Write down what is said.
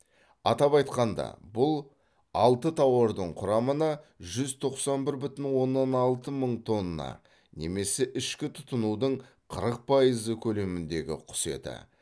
атап айтқанда бұл алты тауардың құрамына жүз тоқсан бір бүтін оннан алты мың тонна немесе ішкі тұтынудың қырық пайызы көлеміндегі құс еті